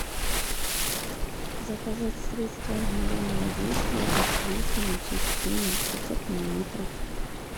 заказать средство мгновенного действия от плесени чистюня пятьсот миллилитров